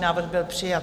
Návrh byl přijat.